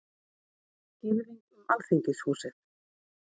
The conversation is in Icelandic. Girðing um Alþingishúsið